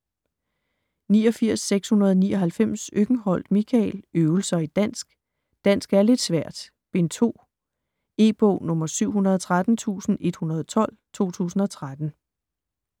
89.699 Øckenholt, Michael: Øvelser i dansk: Dansk er lidt svært: Bind 2 E-bog 713112 2013.